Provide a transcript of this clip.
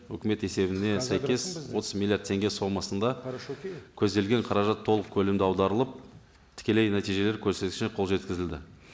өкімет есебіне сәйкес отыз миллиард теңге сомасында көзделген қаражат толық көлемде аударылып тікелей нәтижелер көсреткішіне қол жеткізілді